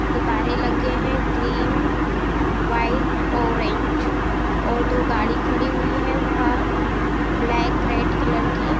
गुब्बारे लगे हैं। ग्रीन व्हाइट ऑरेंज और दो गाड़ी खड़ी हुई हैं बाहर ब्लैक रेड कलर की।